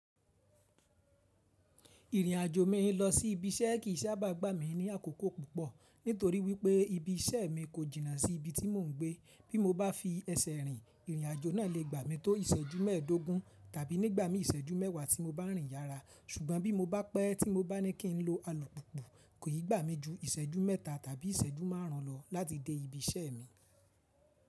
Ìrìnàjò mi lọ sí ibi iṣẹ́ kì í sábà gbá mi ní àkókò púpọ̀ nítorí wípé ibi iṣẹ́ mi kò jìnnà sí ibi tí mò ń gbé. Bí mo bá fi ẹsẹ̀ rìn, ìrìnàjò náà lè gbà mí tó ìṣẹ́jú mẹ́ẹ̀ẹ́dógún tàbí nígbà mí ìṣẹ́jú mẹ́wàá tí mo bá rìn yára. Ṣùgbọ́n bí mo bá pẹ́ tí mo bá ní kí n lo alu púpu, kò i gbà mí ju ìṣẹ́jú mẹ́ta tàbí ìṣẹ́jú márùn ún lọ láti dé ibi iṣẹ́ mi.